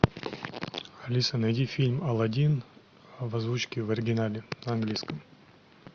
алиса найди фильм алладин в озвучке в оригинале на английском